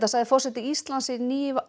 sagði forseti Íslands í